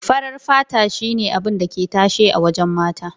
Farar fata shi ne yanzu abun da ke tashe a wajen mata.